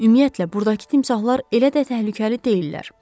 Ümumiyyətlə, burdakı timsahlar elə də təhlükəli deyillər.